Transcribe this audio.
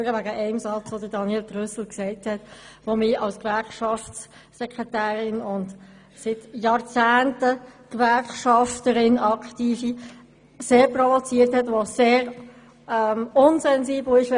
Ich komme nur wegen einer Aussage von Daniel Trüssel ans Rednerpult, die mich als Gewerkschaftssekretärin und jahrzehntelange aktive Gewerkschafterin sehr provoziert hat und die sehr unsensibel ist: «